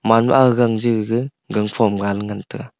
amanma aga gang ja gaga gangphom gan ngan taga.